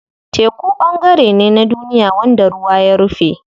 Teku ɓangare ne na duniya wanda ruwa ya rufe.